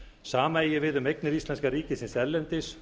sama eigi við um eignir íslenska ríkisins erlendis